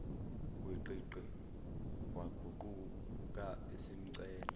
gwiqiqi waguquka esemcela